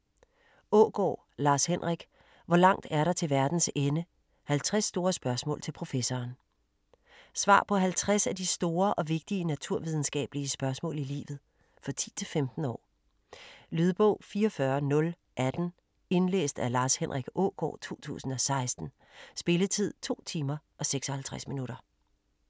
Aagaard, Lars Henrik: Hvor langt er der til verdens ende?: 50 store spørgsmål til professoren Svar på 50 af de store og vigtige naturvidenskabelige spørgsmål i livet. For 10-15 år. Lydbog 44018 Indlæst af Lars Henrik Aagaard, 2016. Spilletid: 2 timer, 56 minutter.